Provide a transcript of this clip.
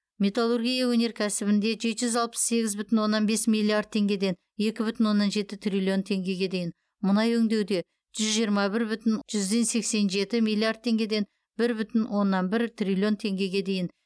металлургия өнеркәсібінде жеті жүз алпыс сегіз бүтін оннан бес миллиард теңгеден екі бүтін оннан жеті триллион теңгеге дейін мұнай өңдеуде жүз жиырма бір бүтін жүзден сексен жеті миллиард теңгеден бір бүтін оннан бір триллион теңгеге дейін